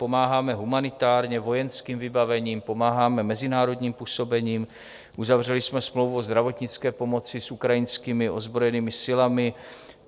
Pomáháme humanitárně, vojenským vybavením, pomáháme mezinárodním působením, uzavřeli jsme smlouvu o zdravotnické pomoci s ukrajinskými ozbrojenými silami.